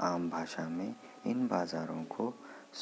आम भाषा मे इन बाजारो को